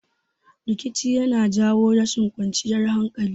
Rikici yana jawo rashin kwanciyar hankali